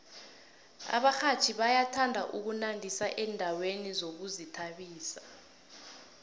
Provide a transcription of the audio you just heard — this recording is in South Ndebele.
abarhatjhi bayathanda ukunandisa endaweni zokuzithabisa